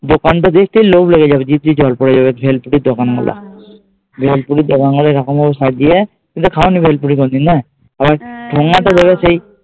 দোকানটা দেখতেই লোভ লেগে যাবে, জিভ দিয়ে জল পরে যাবে ভেলপুরি এরকম ভাবে সব দিয়ে তুমি তো খাওনি ভেলপুরি কোনোদিন না।